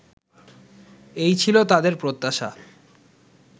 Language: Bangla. এই ছিল তাঁদের প্রত্যাশা